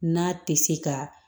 N'a tɛ se ka